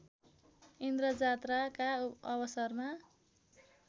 इन्द्रजात्राका अवसरमा